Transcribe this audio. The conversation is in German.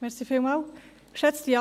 Das Postulat ist abzuschreiben.